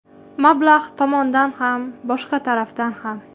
Mablag‘ tomondan ham, boshqa tarafdan ham.